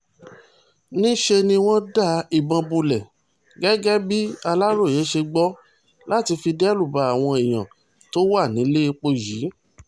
níṣẹ́ ni wọ́n da ìbọn bolẹ̀ gẹ́gẹ́ bí aláròye ṣe gbọ́ láti fi derúbá àwọn èèyàn tó wà nílẹ̀ẹ́pọ̀ yìí